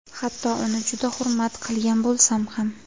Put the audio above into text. Hatto uni juda hurmat qilgan bo‘lsam ham”.